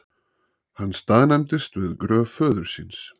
Hann staðnæmist við gröf föður síns.